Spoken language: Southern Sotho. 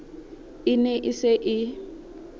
e ne e se e